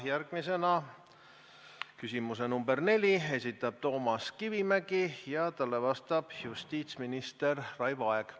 Järgmise küsimuse, nr 4 esitab Toomas Kivimägi ja talle vastab justiitsminister Raivo Aeg.